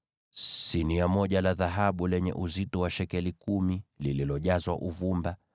sinia moja la dhahabu lenye uzito wa shekeli kumi, likiwa limejazwa uvumba;